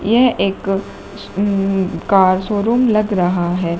यह एक अम्मम्म कार शोरूम लग रहा है।